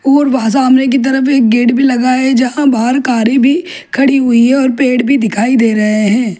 और वहा सामने की तरफ एक गेट भी लगा है जहां बाहर कारे भी खड़ी हुई है और पेड़ भी दिखाई दे रहे हैं।